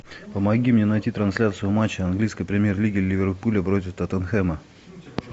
помоги мне найти трансляцию матча английской премьер лиги ливерпуля против тоттенхэма